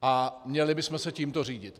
A měli bychom se tímto řídit.